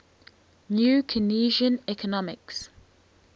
new keynesian economics